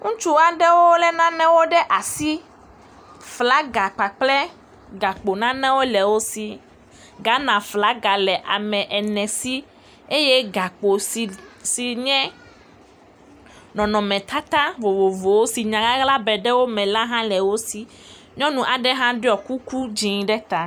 Ŋutsu aɖewo lé nanewo ɖe asi. Flaga kpakple gakpo nanewo le wo si. Ghana flaga le ame ene si. Eye gakpo si, si nye nɔnɔmetata vovovowo si nyaʋaʋla be ɖe wome la le wosi. Nyɔnu aɖe ɖɔ kuku dzẽ ɖe ta.